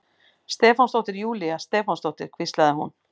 Stefánsdóttir, Júlía Stefánsdóttir, hvíslaði hún.